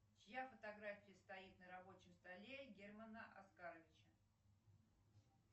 чья фотография стоит на рабочем столе германа оскаровича